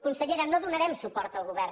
consellera no donarem suport al govern